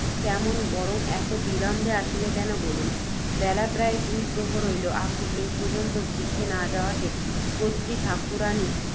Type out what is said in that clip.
কেমন, বরং এত বিলম্বে আসিলে কেন, বলুন। বেলা প্রায় দুই প্রহর হইল, আপনি এ পর্য্যন্ত গৃহে না যাওয়াতে, কত্রী ঠাকুরাণী